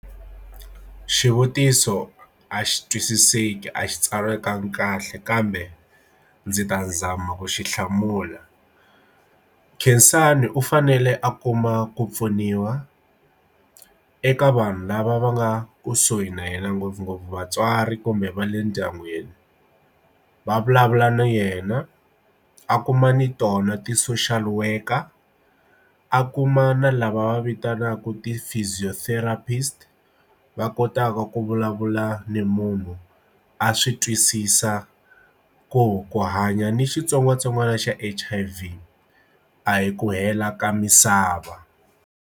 Xivutiso a xi twisiseki a xi tsariwanga kahle kambe ndzi ta zama ku xi hlamula Khensani u fanele a kuma ku pfuniwa kha eka vanhu lava va nga kusuhi na yena ngopfungopfu vatswari kumbe va le ndyangwini va vulavula na yena a kuma ni tona ti social worker a kuma na lava va vitanaka ti physiotherapist va kotaka ku vulavula ni munhu a swi twisisa ku ku hanya ni xitsongwatsongwana xa H_I_V a hi ku hela ka misava.